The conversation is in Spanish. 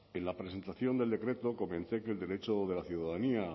en la presentación del decreto comenté que el derecho de la ciudadanía a